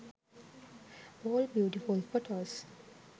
all beautiful photos